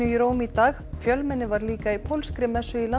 í Róm í dag fjölmenni var líka í pólskri messu í